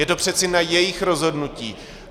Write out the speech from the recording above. Je to přeci na jejich rozhodnutí.